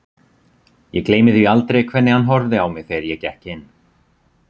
Ég gleymi því aldrei hvernig hann horfði á mig þegar ég gekk inn.